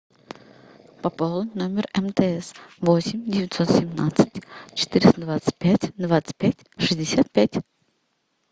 пополнить номер мтс восемь девятьсот семнадцать четыреста двадцать пять двадцать пять шестьдесят пять